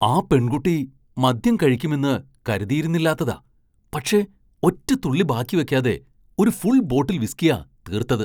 ആ പെൺകുട്ടി മദ്യം കഴിക്കുമെന്ന് കരുതിയിരുന്നില്ലാത്തതാ, പക്ഷേ ഒറ്റ തുള്ളി ബാക്കി വെക്കാതെ ഒരു ഫുൾ ബോട്ടിൽ വിസ്കിയാ തീർത്തത്!